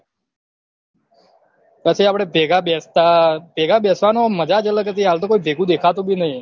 પછી આપડે ભેગા બેસતા ભેગા બેસવાનું ઓમ મજા જ અલગ હતી હાલતો કોઈ ભેગું દેખાતું બી નહી